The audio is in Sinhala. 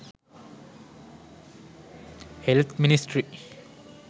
health ministry